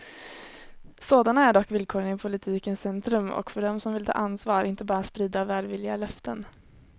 Sådana är dock villkoren i politikens centrum och för dem som vill ta ansvar, inte bara sprida välvilliga löften.